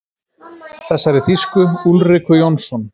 Þessari þýsku: Úlriku Jónsson.